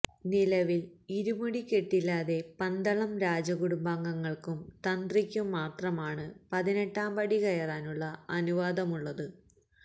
നിലവില് ഇരുമുടിക്കെട്ടില്ലാതെ പന്തളം രാജ കുടുംബാംഗങ്ങള്ക്കും തന്ത്രിക്കും മാത്രമാണ് പതിനെട്ടാം പടി കയറാനുള്ള അനുവാദമുള്ളത്